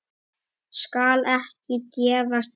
Skal ekki gefast upp.